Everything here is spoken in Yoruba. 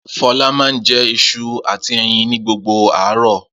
Fọlá máa ń jẹ iṣu àti ẹyin ni gbogbo àárọ̀.